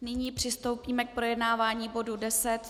Nyní přistoupíme k projednávání bodu